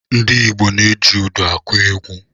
Ndị Igbo ji údù akụ egwu.